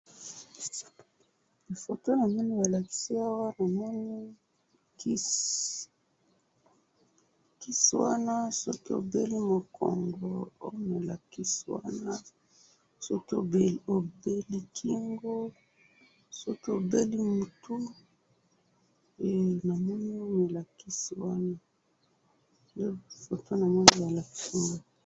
Foto namoni balakisi awa, namoni kisi, kisi wana soki obeli mukongo omela kisi wana, soki obeli kingo, soki obeli mutu, eh! Namoni balakisi wana, nde foto namoni balakisi wana.